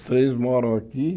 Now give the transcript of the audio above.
Os seis moram aqui.